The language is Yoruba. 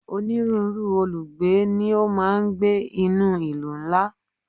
Onírúurú olùgbé ni ó máa ń gbé ní ìlú ńlá